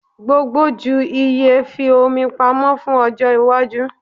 Gbogbo ju iye; fi omi pamọ fun ojo iwaju